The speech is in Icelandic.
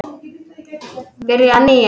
Byrja að nýju?